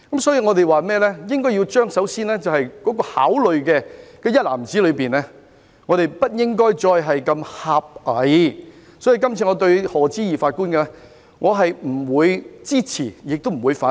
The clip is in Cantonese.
因此，我們首先在考慮的一籃子內，不應如此狹隘，所以這次我對賀知義法官的任命既不會支持，亦不會反對。